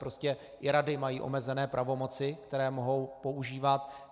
Prostě i rady mají omezené pravomoci, které mohou používat.